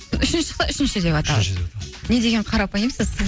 үшіншісі шықса үшінші деп аталады не деген қарапайымсыз